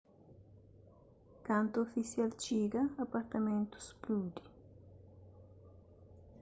kantu ofisial txiga apartamentu spludi